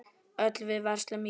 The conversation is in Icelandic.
Öll við verslum í búð.